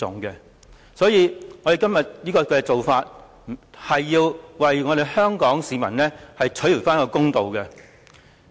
因此，我們今天的做法是要為香港市民討回公道。